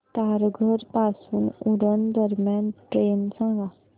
तारघर पासून उरण दरम्यान ट्रेन सांगा